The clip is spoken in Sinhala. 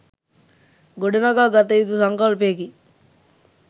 ගොඩනඟා ගත යූතු සංකල්පයකි.